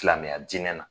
Silamɛya dinɛ na